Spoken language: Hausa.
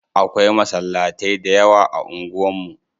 Akwai masallatai da yawa a unguwan mu.